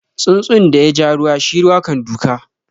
Tsuntsun da ya ja ruwa shi ruwa kan doka.